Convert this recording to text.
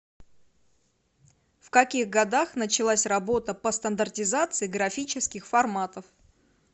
в каких годах началась работа по стандартизации графических форматов